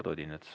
Eduard Odinets.